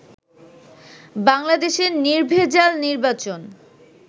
বাংলাদেশে নির্ভেজাল নির্বাচন